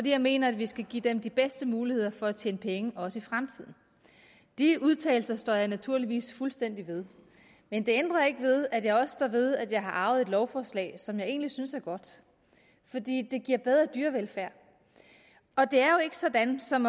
jeg mener at vi skal give dem de bedste muligheder for at tjene penge også i fremtiden de udtalelser står jeg naturligvis fuldstændig ved men det ændrer ikke ved at jeg også står ved at jeg har arvet et lovforslag som jeg egentlig synes er godt fordi det giver bedre dyrevelfærd og det er jo ikke sådan som